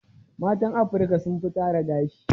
Matan Afirika sun fi tara gashi.